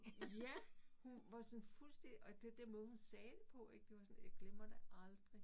Ja hun var sådan fuldstændig og det den måde hun sagde det på ik det var sådan jeg glemmer det aldrig